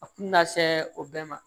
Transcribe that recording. A kun mi na se o bɛɛ ma